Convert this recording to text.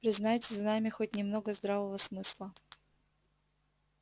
признайте за нами хоть немного здравого смысла